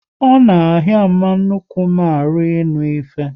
Ọ na ahịa mama nnukwu m ahụ ịnụ ihe